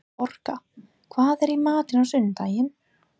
Orka, hvað er í matinn á sunnudaginn?